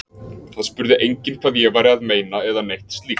Það spurði enginn hvað ég væri að meina eða neitt slíkt.